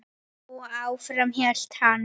Og áfram hélt hann.